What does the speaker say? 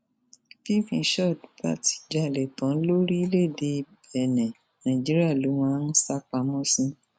bí mishọdì bá ti jalè tán lórílẹèdè bẹńẹ nàìjíríà ló máa ń sá pamọ sí